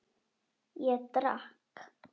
Ég drakk.